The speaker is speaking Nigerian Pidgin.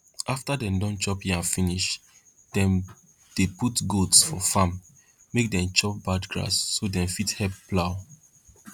after dem don chop yam finish dem dey put goats for farm make dem chop bad grass so dem fit help plow